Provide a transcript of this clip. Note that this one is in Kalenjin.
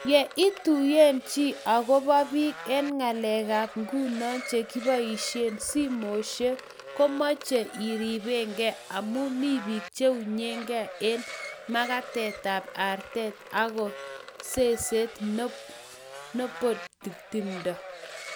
Yo ituiye chi ako biik eng ngalekab nguno chekibaishei simoshek, komechei iribkei amu mi biik cheunyegei eng magatit tab arte anga ko seset nobody timdo